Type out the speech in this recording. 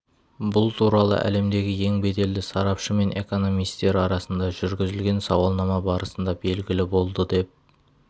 бұл туралы әлемдегі ең беделді сарапшы мен экономистер арасында жүргізілген сауалнама барысында белгілі болды деп